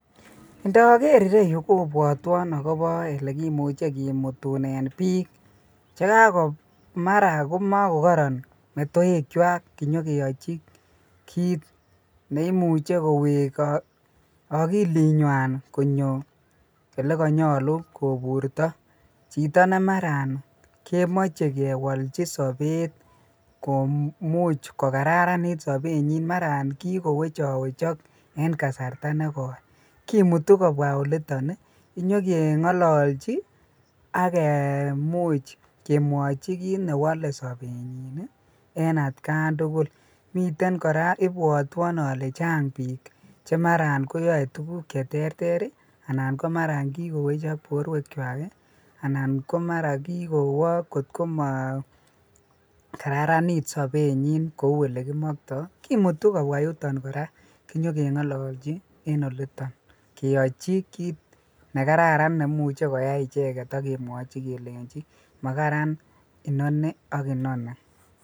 Ndoker ireyu kobwotwon akobo olekimuche kimutunen biik chekako mara komakokoron metoekwak kinyokeyochi kiit neimuche lowek akilinywan konyo elekonyolu koburto, chito nemaran kemoche kewolchi sobet komuch kokararanit sobenyin mara kikowechowechok en kasarta nekoi kimutu kobwaa oliton inyokeng'ololchi ak kimuch kemwochi kiit newole sobenyin en atkan tukul, miten kora ibwotwon olee chang biik chemaran koyoe tukuk cheterter anan komara ko kikowechok borwekwak anan komara kikowo kotkomo kararanit sobenyin kou elekimokto, kimutu kobwaa yuton kora kinyokeng'ololchi keyochi kiit nekararan neimuche koyai icheket ak kemwochi kelenchi makaran inoni ak inoni.